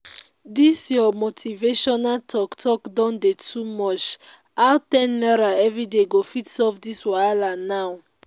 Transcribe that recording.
dis your motivational talk talk don dey too much how ten naira everyday go fit solve dis wahala now?